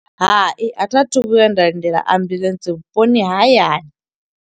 Hai, a thi a thu vhuya nda lindela ambuḽentse vhuponi ha hayani.